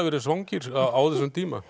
verið svangir á þessum tíma